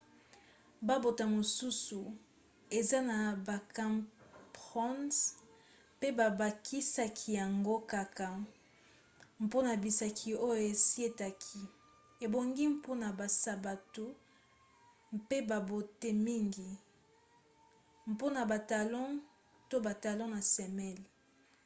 babote mosusu eza na bacrampons mpe babakisaka yango kaka mpona bisika oyo esietaka ebongi mpona basapatu mpe babote mingi mpona batalons to batalon na semelle